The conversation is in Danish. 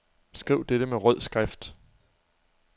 Skriv dette med rød skrift.